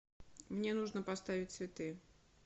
мне нужно поставить цветы